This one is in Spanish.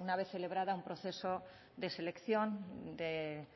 una vez celebrado un proceso de selección de